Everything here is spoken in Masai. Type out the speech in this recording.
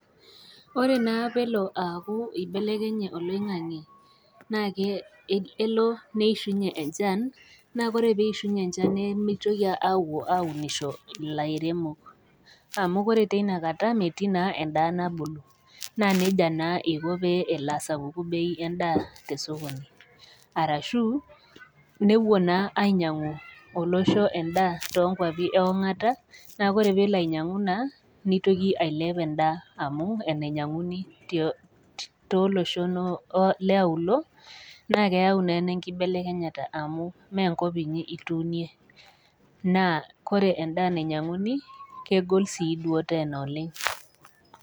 koreee naa peloo aaakuu ibelekenye oloingange' neshuonye enchan nemitoki aunisho ilaeremok amu koree teneikata naa metii naa endaa nabulu nesapuk bei endaa to sokoni arashoo nepuo naa ainyangu endaa too nkuapi iongata naa koree naa peloo nitoki ailep endaa amu enanyanguani too loshon neyau naa ena enkibelekenyata naa koree endaa nanyanguni kmegoll siduo tenaa oleng